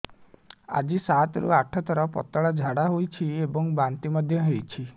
ଆଜି ସାତରୁ ଆଠ ଥର ପତଳା ଝାଡ଼ା ହୋଇଛି ଏବଂ ବାନ୍ତି ମଧ୍ୟ ହେଇଛି